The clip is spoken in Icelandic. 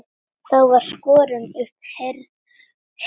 Þá var skorin upp herör.